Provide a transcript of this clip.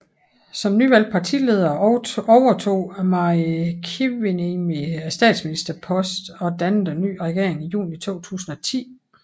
Som nyvalgt partileder overtog Mari Kiviniemi statsministerposten og dannede en ny regering i juni 2010